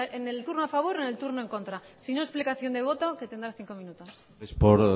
en el turno a favor o en el turno en contra sino explicación de voto que tendrá cinco minutos es por